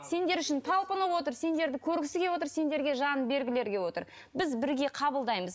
сендер үшін талпынып отыр сендерді көргісі келіп отыр сендерге жанын бергілері кеп отыр біз бірге қабылдаймыз